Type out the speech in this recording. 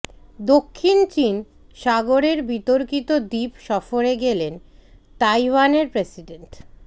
দক্ষিণ চীন সাগরের বিতর্কিত দ্বীপ সফরে গেলেন তাইওয়ানের প্রেসিডেন্ট